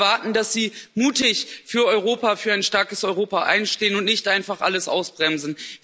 Wir erwarten, dass sie mutig für ein starkes Europa einstehen und nicht einfach alles ausbremsen.